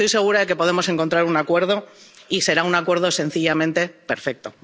Porque estoy segura de que podemos encontrar un acuerdo y será un acuerdo sencillamente perfecto.